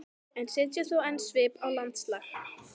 en setja þó enn svip á landslag.